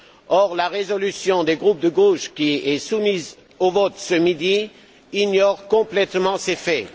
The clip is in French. Or la résolution des groupes de gauche, qui est soumise au vote ce midi, ignore complètement ces faits.